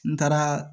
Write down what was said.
N taaraa